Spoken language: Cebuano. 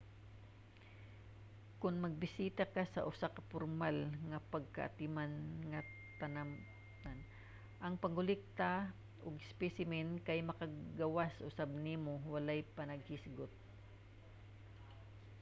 kon magbisita sa usa ka pormal nga pagkaatiman nga tanaman ang pagkolekta og mga espesimen kay makapagawas usab nimo walay panaghisgot